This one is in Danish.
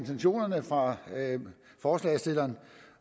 intentionerne fra forslagsstilleren